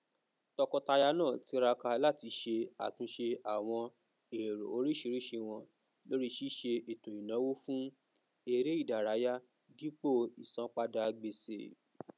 tọkọtaya naa tiraka láti ṣe àtúnṣe àwọn èrò oríṣiríṣi wọn lórí ṣíṣe ètòìnáwó fún eré ìdárayá dípò ìsanpadà gbèsè